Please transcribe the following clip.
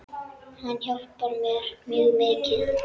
Hann hjálpar mér mjög mikið.